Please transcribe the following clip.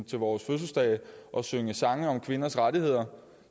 til vores fødselsdage og synge sange om kvinders rettigheder